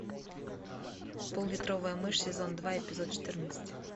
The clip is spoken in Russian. поллитровая мышь сезон два эпизод четырнадцать